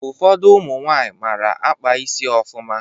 Ụfọdụ ụmụ nwaanyị mara akpa isi ofụma